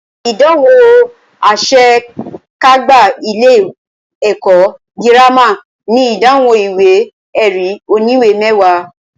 Ìdánwò àṣe kágbá ilé ẹ̀kọ́ gírámà ní ìdánwò ìwé ẹ̀rí oníwè mẹwàá.